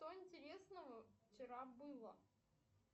что интересного вчера было